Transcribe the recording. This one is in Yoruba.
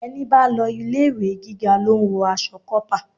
Ẹni bá lọ ilé-ìwé gíga lo ń wọ aṣọ kópa.